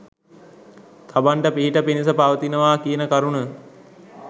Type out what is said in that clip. තමන්ට පිහිට පිණිස පවතිනවා කියන කරුණ